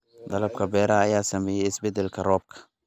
Dalagga beeraha ayaa saameeyay isbeddelka roobka.